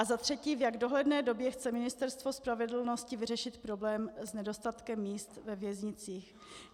A za třetí, v jak dohledné době chce Ministerstvo spravedlnosti vyřešit problém s nedostatkem míst ve věznicích?